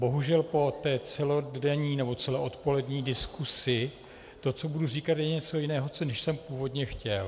Bohužel po té celodenní nebo celoodpolední diskusi to, co budu říkat, je něco jiného, než jsem původně chtěl.